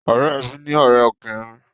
Ọ̀rẹ́ mi ní ọrẹ ọkùnrin